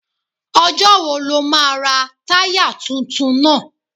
Ọjọ́ wo lo máa ra táyà tuntun náà?